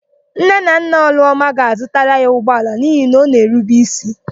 Nne na nna Ọlụọma ga-azụtara ya ụgbọala n'ihi na ọ na-erube ísí.